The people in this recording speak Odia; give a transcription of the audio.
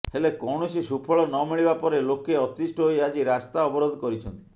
ହେଲେ କୌଣସି ସୁଫଳ ନମିଳିବା ପରେ ଲୋକେ ଅତିଷ୍ଠ ହୋଇ ଆଜି ରାସ୍ତା ଅବରୋଧ କରିଛନ୍ତି